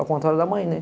Ao contrário da mãe, né?